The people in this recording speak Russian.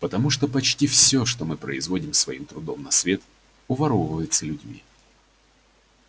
потому что почти все что мы производим своим трудом на свет уворовывается людьми